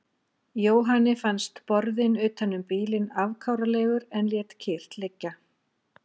Jóhanni fannst borðinn utan um bílinn afkáralegur en lét kyrrt liggja.